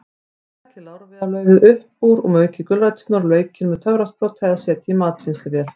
Takið lárviðarlaufið upp úr og maukið gulræturnar og laukinn með töfrasprota eða setjið í matvinnsluvél.